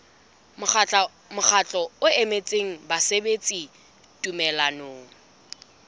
mokgatlo o emetseng basebeletsi tumellanong